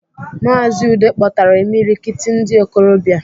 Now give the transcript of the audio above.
Maazi Udeh kpọtara imilikiti ndi okolobia...